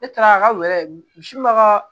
Ne taara a ka wɔri misi ka